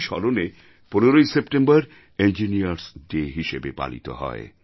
তাঁরই স্মরণে 15ই সেপ্টেম্বর ইঞ্জিনিয়ার্স ডে হিসেবে পালিত হয়